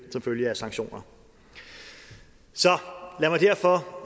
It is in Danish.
som følge af sanktioner så lad mig derfor